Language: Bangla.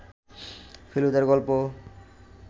ফেলুদার গল্প